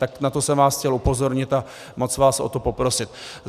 Tak na to jsem vás chtěl upozornit a moc vás o to poprosit.